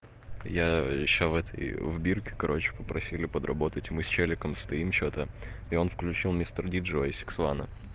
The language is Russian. я ещё в этой в бирке короче попросили подработать и мы с человеком стоим что-то и он включил мистер диджей и сиксвана